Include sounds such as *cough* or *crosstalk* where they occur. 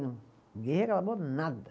*unintelligible* Ninguém reclamou nada.